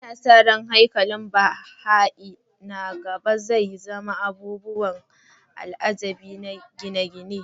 Ana sa ran haikalin Baha'i na gaba zai zama abubuwan al'ajabi na gine-gine.